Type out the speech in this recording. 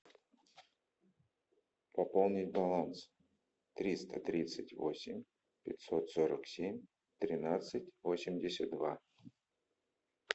пополнить баланс триста тридцать восемь пятьсот сорок семь тринадцать восемьдесят два